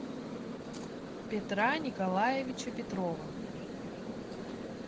петра николаевича петрова